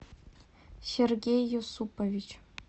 сергей юсупович